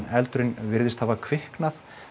eldurinn virðist hafa kviknað